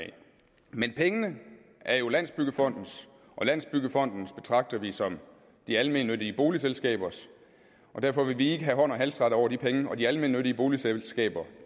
men pengene er jo landsbyggefondens og landsbyggefonden betragter vi som de almennyttige boligselskabers og derfor vil vi ikke have hånd og halsret over de penge og de almennyttige boligselskaber